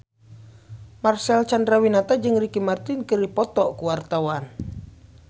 Marcel Chandrawinata jeung Ricky Martin keur dipoto ku wartawan